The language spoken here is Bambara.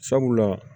Sabula